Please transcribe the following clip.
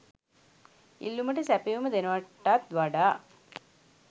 ඉල්ලුමට සැපයුම දෙනවටත් වඩා